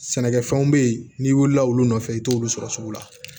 Sɛnɛkɛfɛnw bɛ yen n'i wulila olu nɔfɛ i t'olu sɔrɔ sugu la